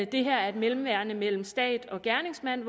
det her er et mellemværende mellem stat og gerningsmand